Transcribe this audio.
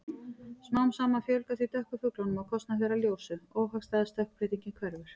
Smám saman fjölgar því dökku fuglunum á kostnað þeirra ljósu- óhagstæða stökkbreytingin hverfur.